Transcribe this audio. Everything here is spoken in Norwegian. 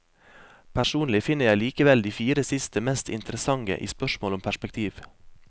Personlig finner jeg likevel de fire siste mest interessante i spørsmål om perspektiv.